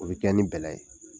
O be kɛ ni bɛlɛ ye.